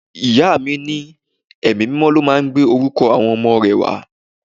Ìyá mi ní Ẹ̀mí mímọ́ ló máa ń gbé orúkọ àwọn ọmọ rẹ wá.